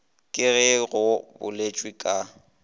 ka ge go boletšwe ka